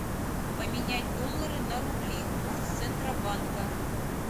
поменять доллары на рубли курс центробанка